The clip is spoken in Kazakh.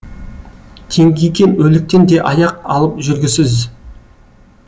теңкиген өліктен де аяқ алып жүргісіз